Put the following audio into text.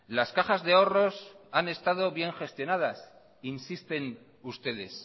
las cajas de ahorros han estado bien gestionadas insisten ustedes